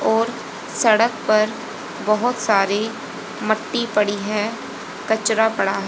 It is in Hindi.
और सड़क पर बहोत सारी मट्टी पड़ी है कचरा पड़ा है।